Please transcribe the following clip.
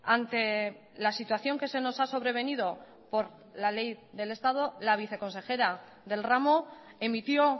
ante la situación que se nos ha sobrevenido por la ley del estado la viceconsejera del ramo emitió